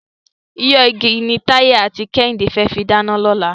Iná igi ni Táyé àti Kẹ́hìndé fẹ́ fi dáná lọ́la.